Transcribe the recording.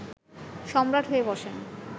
সম্রাট হয়ে বসেন